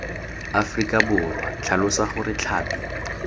aforika borwa tlhalosa gore tlhapi